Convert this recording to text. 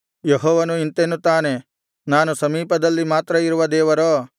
ಯೆಹೋವನು ಇಂತೆನ್ನುತ್ತಾನೆ ನಾನು ಸಮೀಪದಲ್ಲಿ ಮಾತ್ರ ಇರುವ ದೇವರೋ